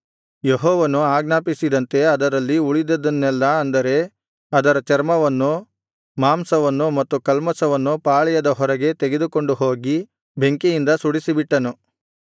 ಯೆಹೋವನು ಆಜ್ಞಾಪಿಸಿದಂತೆ ಅದರಲ್ಲಿ ಉಳಿದದ್ದನ್ನೆಲ್ಲಾ ಅಂದರೆ ಅದರ ಚರ್ಮವನ್ನು ಮಾಂಸವನ್ನು ಮತ್ತು ಕಲ್ಮಷವನ್ನು ಪಾಳೆಯದ ಹೊರಗೆ ತೆಗೆದುಕೊಂಡು ಹೋಗಿ ಬೆಂಕಿಯಿಂದ ಸುಡಿಸಿಬಿಟ್ಟನು